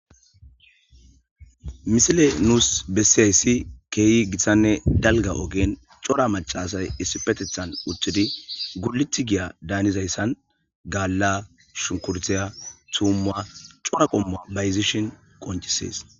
Misile nuus bessiyayssi keehi gitsanne dalga ogen cora macasay issi petethan uththidi guliti giya daanizayssan gaalla shukurtiya tuumma cora qommua bayzishon qoncisees.